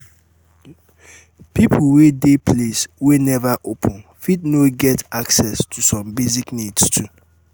pipo wey de place wey never open fit no get access to some basic needs too